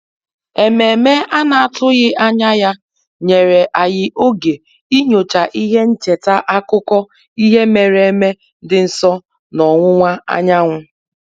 Ememe a na-atụghị anya ya nyere anyị oge inyocha ihe ncheta akụkọ ihe mere eme dị nso n'ọwụwa anyanwụ